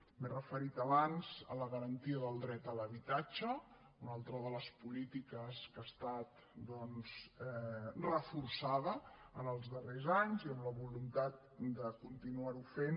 m’he referit abans a la garantia del dret a l’habitatge una altra de les polítiques que ha estat doncs reforçada en els darrers anys i amb la voluntat de continuar ho fent